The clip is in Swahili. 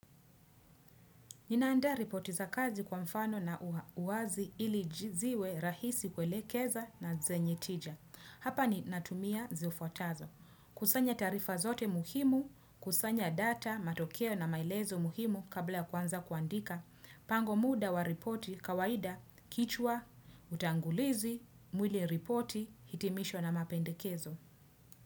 Ninaandaa ripoti za kazi kwa mfano na uwazi ili ziwe rahisi kuelekeza na zenye tija. Hapa ninatumia zifuatazo. Kusanya tarifa zote muhimu, kusanya data, matokeo na maelezo muhimu kabla kuanza kuandika. Pango muda wa ripoti kawaida kichwa, utangulizi, mwili ripoti, hitimisho na mapendekezo.